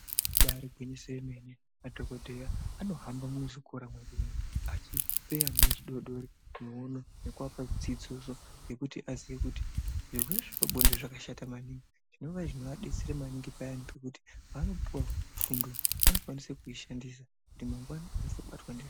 Ibaari gwinyiso yemene, madhokodheya anohambamo muzvikora medu umo achipe ana adodori miono nekupa dzidziso yekuti aziye kuti, zvirwere zvepabonde zvakashata maningi ,zvinova zvinovadetsera maningi payani pekuti paanopuwa fundo , vanokwanisa kuishandisa kuti mangwani asazobatwa ndizvo.